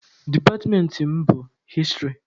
Departmentị mụ bụ hịstrị.